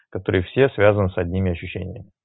который все связан с одними ощущениями